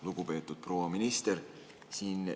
Lugupeetud proua minister!